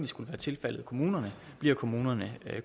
skulle være tilfaldet kommunerne bliver kommunerne